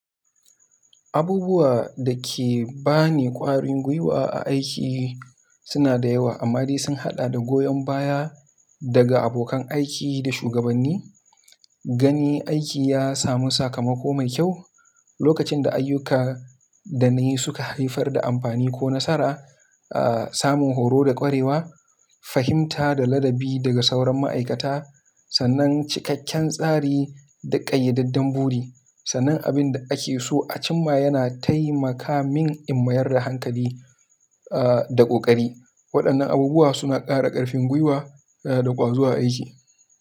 Abubuwa da ke ba ni ƙwarin gwiwa a aiki suna da yawa, amma dai sun haɗar da goyon baya daga abokan aiki da shugabanni, ganin aiki ya samu sakamako mai kyau, lokacin da ayyuka da na yi suka haifar da amfani ko nasara, ah samun horo da ƙwarewa, fahimta da ladabi daga sauran ma'aikata, sannan cikakken tsari da ƙayyadaddun buri. Sannan abin da ake so a cimma yana taimaka min in mayar da hankali ah da ƙoƙari. Waɗannan abubuwa suna ƙara ƙarfin gwiwa da ƙwazo a aiki.